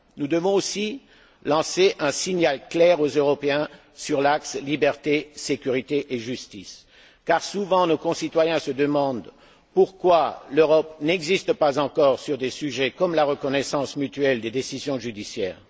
Nous devons aussi lancer un signal clair aux Européens sur l'axe liberté, sécurité et justice, car nos concitoyens se demandent souvent pourquoi l'Europe n'existe pas encore pour des sujets tels que la reconnaissance mutuelle des décisions judiciaires.